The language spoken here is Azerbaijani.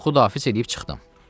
Durub Xudahafiz eləyib çıxdım.